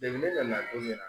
ne nan'a ko